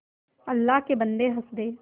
अल्लाह के बन्दे हंस दे